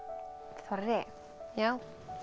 þorri já